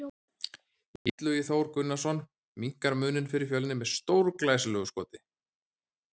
Illugi Þór Gunnarsson minnkar muninn fyrir Fjölni með stórglæsilegu skoti!